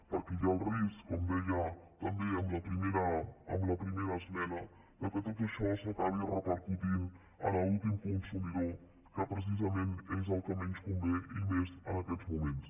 perquè hi ha el risc com deia també amb la primera esmena que tot això acabi repercutint en l’últim consumidor que precisament és el que menys convé i més en aquests moments